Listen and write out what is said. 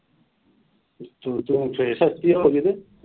ਫੇਰ ਸਸਤੀਆਂ ਹੋਗੀਆਂ ਤੇ।